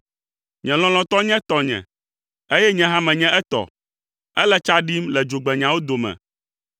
Nye lɔlɔ̃tɔ nye tɔnye, eye nye hã menye etɔ; ele tsa ɖim le dzogbenyawo dome.